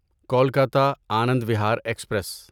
Kolkata Anand Vihar express